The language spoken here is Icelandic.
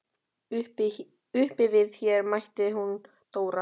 Uppi við Her mætti hún Dóra.